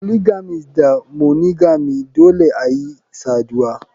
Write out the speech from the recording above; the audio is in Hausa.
Polygamist da monogamy Dole ayi saduwa.